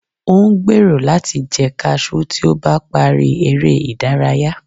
o n gbero lati jẹ cashew ti o ba pari ere idaraya